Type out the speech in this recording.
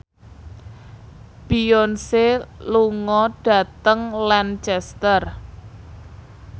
Beyonce lunga dhateng Lancaster